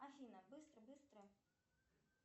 афина быстро быстро